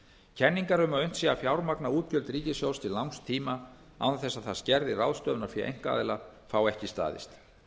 kenningar um að unnt sé að fjármagna útgjöld ríkissjóðs til langs tíma án þess að það skerði ráðstöfunarfé einkaaðila fá ekki staðist